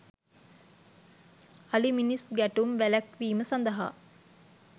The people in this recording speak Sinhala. අලි මිනිස් ගැටුම් වැළැක්වීම සඳහා